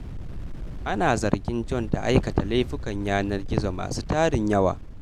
Ana zargin John da aikata laifukan yanar gizo masu tarin yawa.